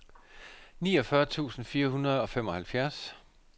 niogfyrre tusind fire hundrede og femoghalvfjerds